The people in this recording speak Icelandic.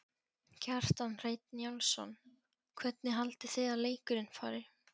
Kjartan Hreinn Njálsson: Hvernig haldið þið að leikurinn fari?